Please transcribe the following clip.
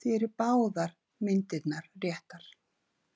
því eru báðar myndirnar réttar.